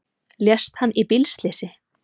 Lést hann í bílslysi